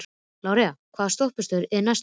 Lárey, hvaða stoppistöð er næst mér?